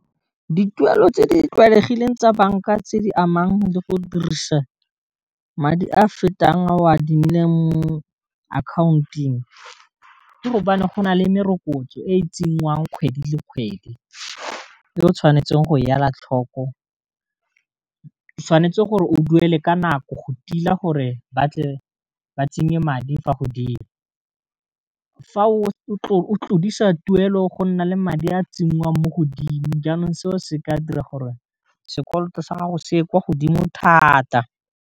Dituelo tse di tlwaelegileng tsa banka tse di amang le go dirisa madi a fetang a o a adimileng mo account-ng ke gobane go na le merokotso e tsenngwang kgwedi le kgwedi, e o tshwanetseng go ya ela tlhoko, tshwanetse o duele ka nako go tila gore batle ba tsenye madi fa godimo fa o tlodisa tuelo go nna le madi a tsenngwang mo godimo, jaanong seo se ka dira gore sekoloto sa gago se e kwa godimo thata.